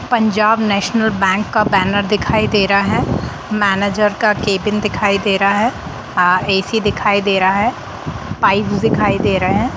पंजाब नेशनल बैंक का बैनर दिखाई दे रहा है मैनेजर का केबिन दिखाई दे रहा है अ ए_सी दिखाई दे रहा है पाइप्स दिखाई दे रहे है ।